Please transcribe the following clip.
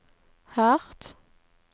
hardt